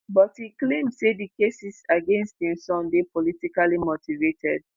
but e claim say di cases against im son dey politically motivated